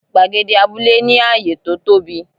Gbàgede abúlé ní ààyè to tóbi.